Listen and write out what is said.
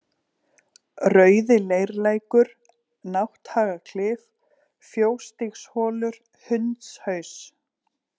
Rauðileirlækur, Nátthagaklif, Fjósstígsholur, Hundshaus